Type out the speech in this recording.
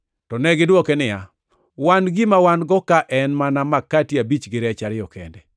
To negidwoke niya, “Wan gima wan-go ka en mana makati abich gi rech ariyo kende.”